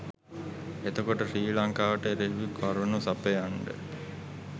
එතකොට ශ්‍රී ලංකාවට එරෙහිව කරුණු සපයන්ඩ